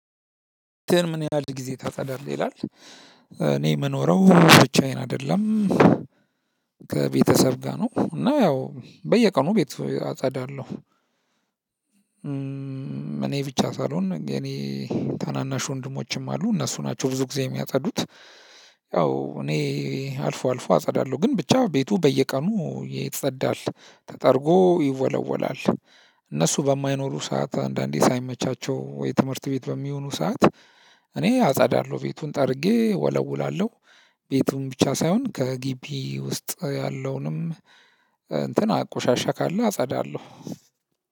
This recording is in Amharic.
ቤትህን ምን ያህል ጊዜ ታጸዳለህ ይላል? እኔ የምኖረው ብቻዬን አይደለም። ከቤተሰብ ጋር ነው እና ያው በየቀኑ ቤት አጸዳለሁ። እኔ ብቻ ሳልሆን የኔ ታናናሽ ወንድሞችም አሉ እነሱ ናቸው ብዙ ጊዜ የሚያጸዱት። ያው እኔ አልፎ አልፎ አጸዳለሁ ግን ብቻ ቤቱ በየቀኑ ይጸዳል ተጠርጎ ይወለወላል። እነሱ በማይኖሩ ሰዓት አንዳንዴ ሳይመቻቸው ወይ ትምህርት ቤት በሚሆኑ ሰዓት። እኔ አጸዳለሁ ቤቱን ጠርጌ ወለውላለሁ። ቤቱን ብቻ ሳይሆን ከግቢ ውስጥ ያለውንም እንትን ቆሻሻ ካለ አጸዳለሁ።